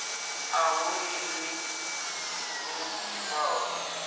a hu ḽiwi lu ḓifhaho